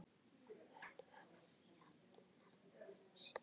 Hann hafði jafnað sig.